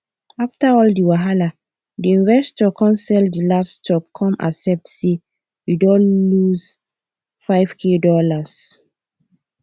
after all the wahala the investor come sell the last stock come accept say e don lose five k dollars